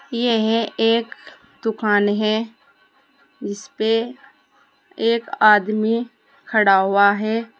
यह एक दुकान है जिसपे एक आदमी खड़ा हुआ है।